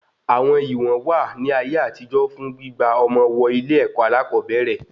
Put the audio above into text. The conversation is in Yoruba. Àwọn ìwọ̀n wà ní ayé àtijó fún gbígba ọmọ wọ ilé-èkó alakobere